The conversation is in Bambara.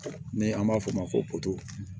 Ni an b'a f'ɔ ma ko poto